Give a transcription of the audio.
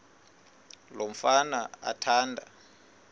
lo mfana athanda